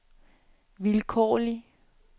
vilkårlig